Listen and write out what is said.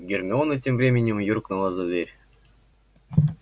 гермиона тем временем юркнула за дверь